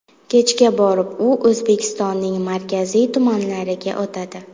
Kechga borib u O‘zbekistonning markaziy tumanlariga o‘tadi.